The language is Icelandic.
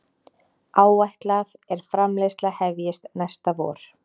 Áætlað er framleiðsla hefjist næsta vor